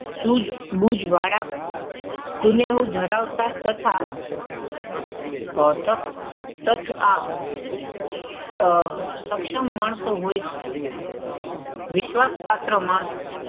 સૂઝબૂઝ વાળા કુનેહ ધરાવતા તથા આહ સક્ષમ માણસો હોય છે. વિશ્વાસપાત્ર માણસો,